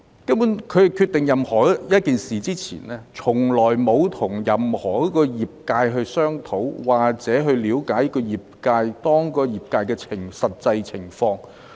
政府決定任何一件事前，從來沒有與任何一個業界商討，或嘗試了解業界的實際情況。